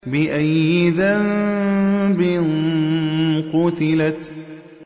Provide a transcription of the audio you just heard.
بِأَيِّ ذَنبٍ قُتِلَتْ